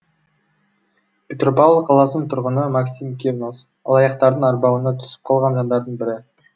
петропавл қаласының тұрғыны максим кирнос алаяқтардың арбауына түсіп қалған жандардың бірі